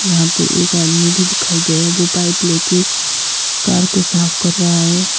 यहां पे एक आदमी दिखाई दे रहा है जो पाइप लेके कार को साफ कर रहा है।